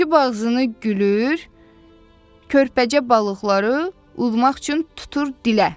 Açıb ağzını gülür, körpəcə balıqları udmaq üçün tutur dilə.